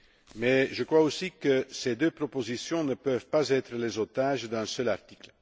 Mais je crois aussi que ces deux propositions ne peuvent pas être les otages d'un seul article.